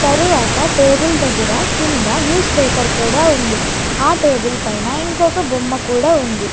తరువాత టేబుల్ దగ్గర కింద న్యూస్ పేపర్ కూడా ఉంది ఆ టేబుల్ పైన ఇంకొక బొమ్మ కూడా ఉంది.